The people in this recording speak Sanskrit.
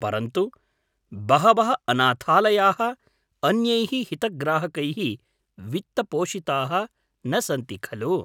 परन्तु बहवः अनाथालयाः अन्यैः हितग्राहकैः वित्तपोषिताः न सन्ति खलु?